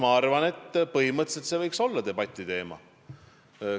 Ma arvan, et see võiks põhimõtteliselt olla debati teema.